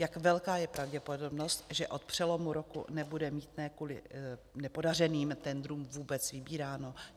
Jak velká je pravděpodobnost, že od přelomu roku nebude mýtné kvůli nepodařeným tendrům vůbec vybíráno?